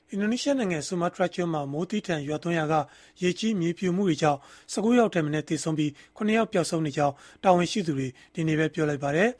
အင်ဒိုနီးရှားနိုင်ငံ ဆူမားတြားကျွန်းမှာ မိုးသည်းထန်ရွာသွန်းရာက ရေကြီးမြေပြိုမှုတွေကြောင့် ၁၉ ယောက်ထက်မနည်း သေဆုံးပြီး၊ ၇ ယောက် ပျောက်ဆုံးနေကြောင်း တာဝန်ရှိသူတွေက ဒီကနေ့ပဲ ပြောလိုက်ပါတယ်